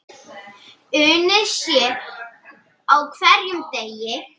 Unnið sé á hverjum degi.